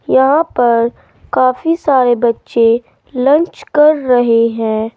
यहां पर काफी सारे बच्चे लंच कर रहे हैं।